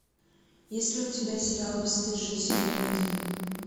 есть ли у тебя сериал бесстыжие сезон один